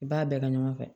N b'a bɛɛ kɛ ɲɔgɔn fɛ